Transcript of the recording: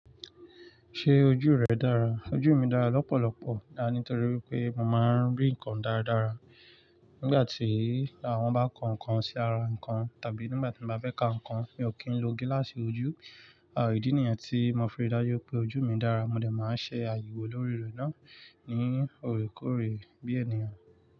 Ṣé ojú rẹ dára? Ojú mi dára lọ́pọ̀lọ́pọ̀, àní torí pé mo máa ń rí nǹkan dáradára nígbà tí àwọn bá ko nǹkan sí ara nǹkan tàbí nígbà tí mo bá fẹ́ ka nǹkan. Mi ò kí ń lo gíláàsì ojú. À ìdí nìyẹn tí mo fi rí dájú pé ojú mi dára. Mo dè máa ṣe àyẹ̀wò lórí rẹ̀ náà ní òrékòóré bí ènìyàn.